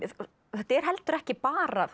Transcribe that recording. þetta er heldur ekki bara þó